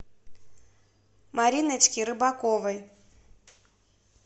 мариночке рыбаковой